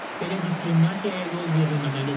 Belə diskriminasiyaya yol verilməməlidir.